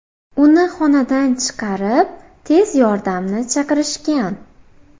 Uni xonadan chiqarib, tez yordamni chaqirishgan.